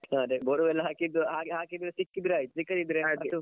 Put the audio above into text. ಅದೇ borewell ಹಾಕಿದ್ದು ಹಾಗೆ ಹಾಕಿದ್ದು ಸಿಕ್ಕಿದ್ರೆ ಆಯ್ತು ಸಿಕ್ಕದಿದ್ರೆ.